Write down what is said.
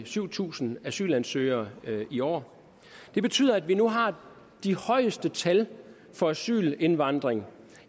syv tusind asylansøgere i år det betyder at vi nu har de højeste tal for asylindvandring